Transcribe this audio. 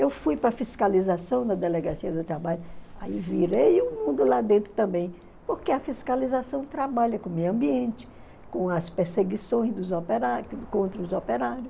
Eu fui para fiscalização na Delegacia do Trabalho, aí virei o mundo lá dentro também, porque a fiscalização trabalha com o meio ambiente, com as perseguições dos operários contra os operários.